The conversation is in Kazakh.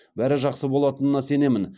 бәрі жақсы болатынына сенемін